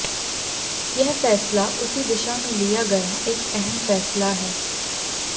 यह फैसला उसी दिशा में लिया गया एक अहम फैसला है